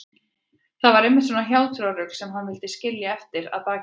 Það var einmitt svona hjátrúarrugl sem hann vildi skilja eftir að baki sér.